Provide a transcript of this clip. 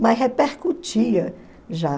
Mas repercutia já.